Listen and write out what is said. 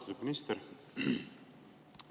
Austatud minister!